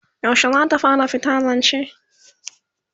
yaushe zata fara fita zance?